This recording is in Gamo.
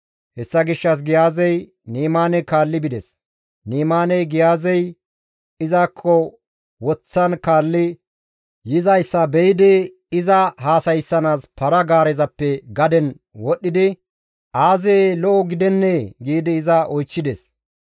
Hessa gishshas Giyaazey Ni7imaane kaalli bides; Ni7imaaney Giyaazey izakko woththan kaalli yizayssa be7idi iza haasayssanaas para-gaarezappe gaden wodhdhidi, «Aazee lo7o gidennee?» giidi iza oychchides.